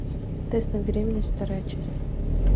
тест на беременность вторая часть